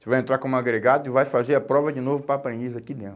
Você vai entrar como agregado e vai fazer a prova de novo para a aprendiz aqui dentro.